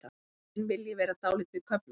Veiðin vilji vera dálítið köflótt.